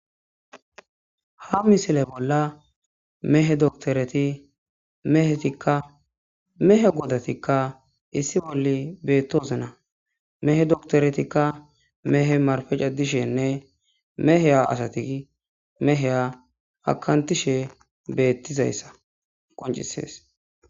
Ha misile bolla mehe doktoreti mehetikka mehe godatikka issi bolli beettoose na mehe doktoretikka mehe marfecadishenne meheya asati meheya akantishe beettizayssa qoncisees.